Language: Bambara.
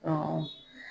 Ɔ